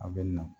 A bɛ na